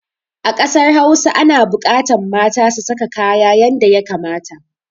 A ƙasar hausa ana buƙatan mata su saka kaya yanda ya kamata.